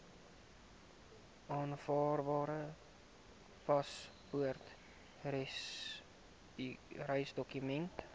aanvaarbare paspoort reisdokument